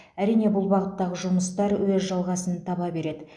әрине бұл бағыттағы жұмыстар өз жалғасын таба береді